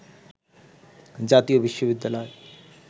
“জাতীয় বিশ্ববিদ্যালয়